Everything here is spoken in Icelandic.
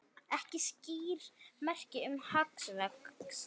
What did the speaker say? Ekki skýr merki um hagvöxt